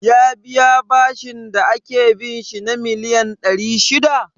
Ya biya bashin da ake bin shi na miliyan ɗari shida?